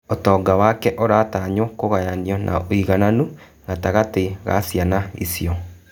ũtonga wake ũratanywo kũgayanio na ũigananu gatagati-ini ga ciana icio.